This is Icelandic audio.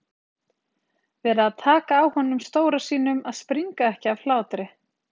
Varð að taka á honum stóra sínum að springa ekki af hlátri.